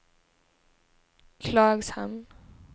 Klagshamn